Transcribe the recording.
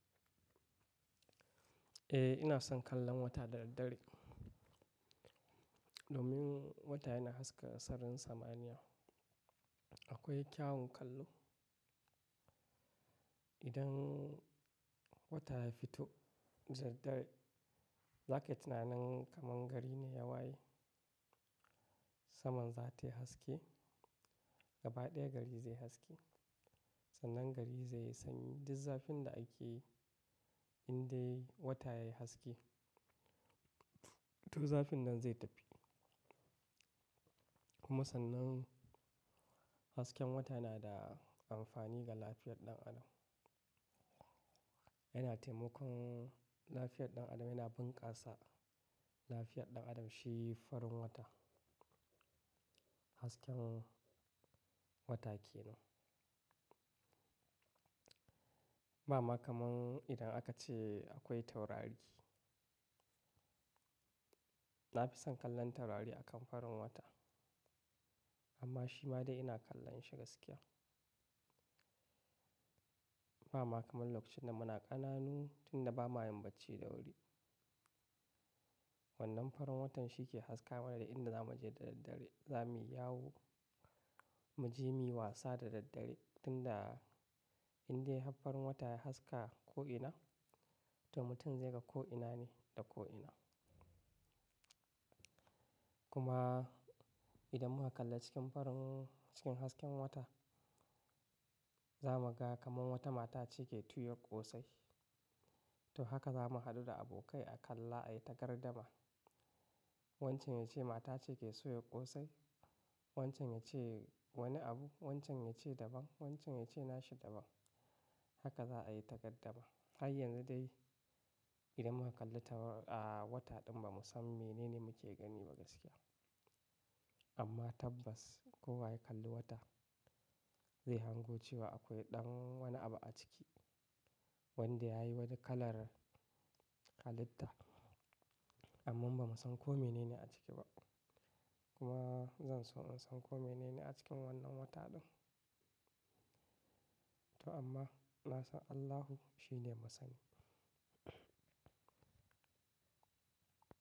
Eh, ina son kallon wata da daddare. Domin wata yana haska sararin samaniya. Akwai kyawun kallo. Idan wata ya fito da daddare, za ka yi tunanin kaman gari ne ya waye. Saman za ta yi haske, gaba ɗaya gari zai haske. Sannan gari zai sanyi duk zafin da ake yi indai wata yayi haske, duk zafin nan zai tafi. Kuma sannan hasken wata yana da amfani ga lafiyar ɗan adam. Yana taimakon lafiyar ɗan adam, yana bunkasa lafiyar ɗan adam. Shi farin wata, hasken wata ke nan. Ba ma kaman idan aka ce akwai taurari. Na fi son kallon taurari a kan farin wata. Amma shi ma dai ina kallon shi gaskiya. Ba ma kaman lokacin da muna ƙananu tun da ba ma yin bacci da wuri. Wannan farin watan shi ke haska mana da inda za mu je da daddare. Za mu yi yawo, mu je muyi wasa da daddare. Tun da indai har farin wata ya haska ko'ina, to mutum zai ga ko'ina ne da ko'ina. Kuma idan muka kalla cikin farin, cikin hasken wata, za mu ga kaman wata mata ce ke tuyar ƙosai. To haka za mu haɗu da abokai a kalla a yi ta gardama. Wancan ya ce mata ce ke soya ƙosai, wancan ya ce wani abu, wancan ya ce daban, wancan ya ce nashi daban. Haka za a yi ta gardama. Har yanzu dai idan muka kalli taurari a wata ɗin ba mu san menene muke gani ba gaskiya. Amma tabbas kowa ya kalli wata, zai hango cewa akwai ɗan wani abu a ciki wanda ya yi wani kalar halitta. Amman ba mu san ko mene ne a ciki ba. Kuma zan so in san ko mene ne a cikin wannan wata ɗin. To amma na san Allahu shi ne masani.